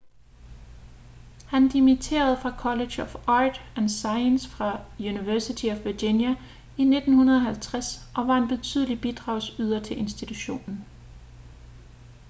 han dimitterede fra college of arts & sciences fra university of virginia i 1950 og var en betydelig bidragsyder til institutionen